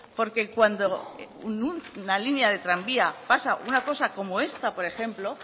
porque cuando una línea de tranvía pasa una cosa como esta por ejemplo